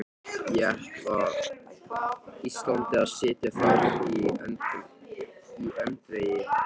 Ég ætla Íslandi að sitja þar í öndvegi, Ari!